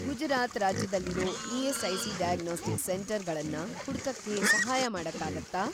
ಗುಜರಾತ್ ರಾಜ್ಯದಲ್ಲಿರೋ ESIC. Diagnostics centre ಗಳನ್ನ ಹುಡ್ಕಕ್ಕೆ ಸಹಾಯ ಮಾಡಕ್ಕಾಗತ್ತಾ?